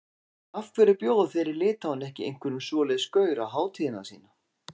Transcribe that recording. Af hverju bjóða þeir í Litháen ekki einhverjum svoleiðis gaur á hátíðina sína?